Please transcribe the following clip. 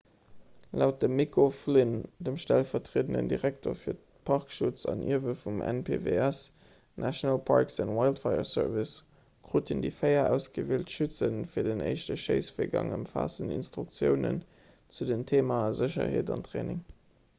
laut dem mick o'flynn dem stellvertriedenden direkter fir parkschutz an ierwe vum npws national parks and wildlife service kruten déi véier ausgewielt schütze fir den éischte schéissvirgang ëmfaassend instruktiounen zu den theemae sécherheet an training